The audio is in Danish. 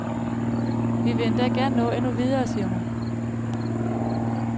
Vi vil endda gerne nå endnu videre, siger hun.